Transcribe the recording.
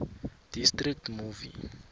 district movie